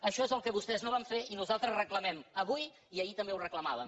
això és el que vostès no van fer i nosaltres reclamem avui i ahir també ho reclamà·vem